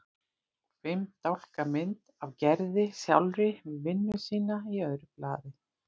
Og fimm dálka mynd af Gerði sjálfri við vinnu sína í öðru blaði.